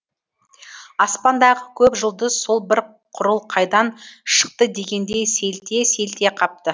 аспандағы көп жұлдыз сол бір құрыл қайдан шықты дегендей селтие селтие қапты